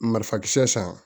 Marifakisɛ san